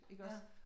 Iggås